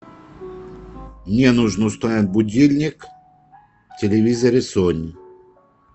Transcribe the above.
мне нужно установить будильник в телевизоре сони